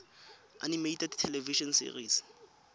animated television series